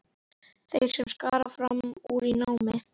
Þeir sem skara fram úr í námi.